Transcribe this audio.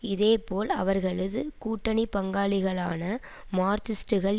இதே போல் அவர்களது கூட்டணி பங்காளிகளான மார்க்சிஸ்டுகள்